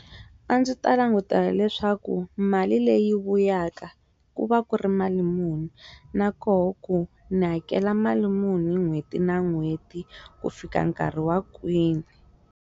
A ndzi ta languta leswaku mali leyi vuyaka ku va ku ri mali muni na koho ku ndzi hakela mali muni hi n'hweti na n'hweti ku fika nkarhi wa kwini.